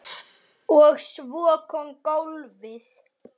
Og svo kom golfið.